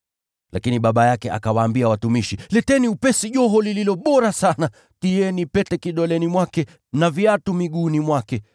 “Lakini baba yake akawaambia watumishi, ‘Leteni upesi joho lililo bora sana, tieni pete kidoleni mwake na viatu miguuni mwake.